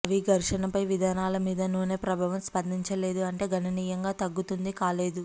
అవి ఘర్షణపై విధానాల మీద నూనె ప్రభావం స్పందించలేదు ఉంటే గణనీయంగా తగ్గుతుంది కాలేదు